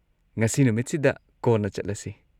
ꯉꯁꯤ ꯅꯨꯃꯤꯠꯁꯤꯗ ꯀꯣꯟꯅ ꯆꯠꯂꯁꯤ꯫